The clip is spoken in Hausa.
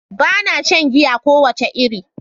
Bana shan giya kowace iri.